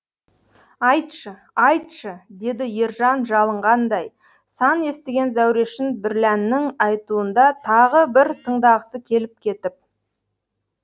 айтшы айтшы деді ержан жалынғандай сан естіген зәурешін бірләннің айтуында тағы бір тыңдағысы келіп кетіп